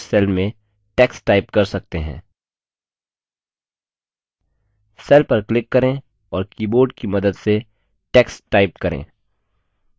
आप किसी भी विशिष्ट cell में text type कर सकते हैं cell पर क्लिक करें और keyboard कि मदद से text type करें